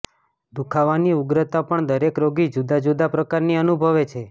દુખાવાની ઉગ્રતા પણ દરેક રોગી જુદાજુદા પ્રકારની અનુભવે છે